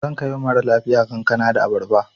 Zan kai wa mara lafiya kankana da abarba.